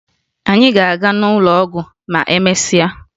Anyị ga-aga n'ụlọ ọgwụ ma emesịa